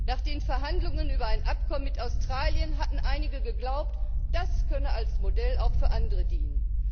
Nach den Verhandlungen über ein Abkommen mit Australien hatten einige geglaubt, das könne als Modell auch für andere dienen.